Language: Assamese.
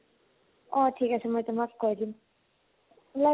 অ । ঠিক আছে, মই তোমাক কৈ দিম । ওলাই